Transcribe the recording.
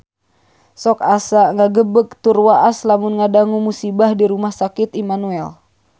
Sok asa ngagebeg tur waas lamun ngadangu musibah di Rumah Sakit Immanuel